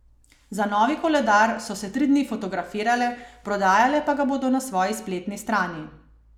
Za novi koledar so se tri dni fotografirale, prodajale pa ga bodo na svoji spletni strani.